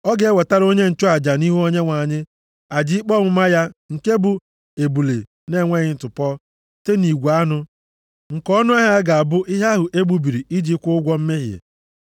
Ọ ga-ewetara onye nchụaja nʼihu Onyenwe anyị, aja ikpe ọmụma ya nke bụ ebule na-enweghị ntụpọ site nʼigwe anụ, nke ọnụahịa ya ga-abụ ihe ahụ e gbubiri iji ịkwụ ụgwọ mmehie.